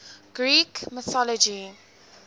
greek mythology